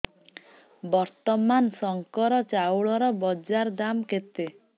ବର୍ତ୍ତମାନ ଶଙ୍କର ଚାଉଳର ବଜାର ଦାମ୍ କେତେ